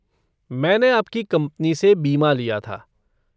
मैंने आपकी कंपनी से बीमा लिया था।